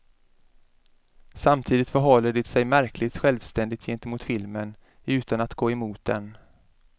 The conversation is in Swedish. Samtidigt förhåller den sig märkligt självständig gentemot filmen, utan att gå emot den.